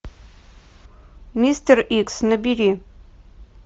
мистер икс набери